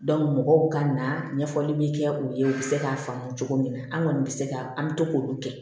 mɔgɔw ka na ɲɛfɔli be kɛ u ye u bi se k'a faamu cogo min na an kɔni be se ka an be to k'olu kɛ